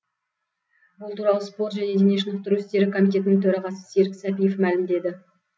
бұл туралы спорт және дене шынықтыру істері комитетінің төрағасы серік сәпиев мәлімдеді